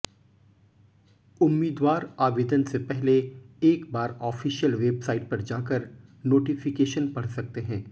उम्मीदवार आवेदन से पहले एक बार ऑफ़िशियल वेबसाइ़ट पर जाकर नोटिफिकेशन पढ़ सकते हैं